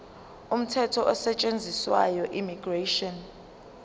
umthetho osetshenziswayo immigration